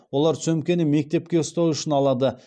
олар сөмкені мектепке ұстау үшін алады